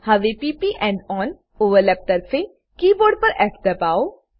હવે p પ end on overlap તરફે કીબોર્ડ પર ફ દબાઓ